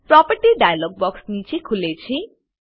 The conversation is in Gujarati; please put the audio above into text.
પ્રોપર્ટી ડાઈલોગ બોક્ક્ષ નીચે ખુલે છે